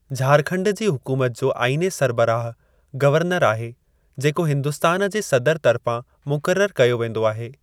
झारखण्ड जी हुकूमत जो आईने सरिबराहु गवर्नर आहे, जेको हिन्दुस्तान जे सदर तर्फ़ां मुक़ररु कयो वेंदो आहे।